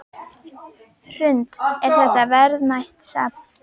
Hrund: Er þetta verðmætt safn?